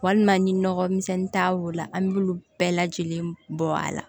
Walima ni nɔgɔ misɛnnin t'a wo la an b'olu bɛɛ lajɛlen bɔ a la